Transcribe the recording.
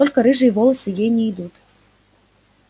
только рыжие волосы ей не идут